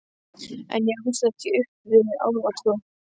En ég ólst ekki upp við álfatrú.